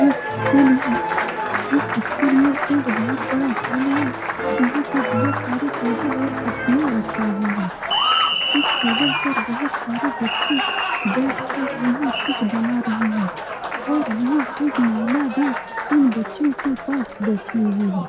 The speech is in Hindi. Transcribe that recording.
एक स्कूल है इस स्कूल में एक बहुत बड़ा हॉल है जहाँ पे बहुत सारे टेबुल और कुर्सियाँ रखी हुई हैं इस टेबुल पर बहोत सारे बच्चे बैठ कर यहाँ कुछ बना रहे हैं और यहाँ एक महिला भी इन बच्चों के पास बैठ हुई है ।